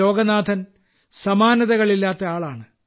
ലോഗനാഥൻ സമാനതകളില്ലാത്ത ആളാണ്